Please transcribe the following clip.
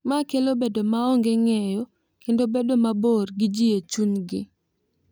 Ma kelo bedo maonge ng’eyo kendo bedo mabor gi ji e chunygi.